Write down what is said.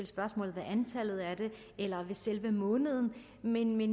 spørgsmål ved antallet eller ved selve måneden men jeg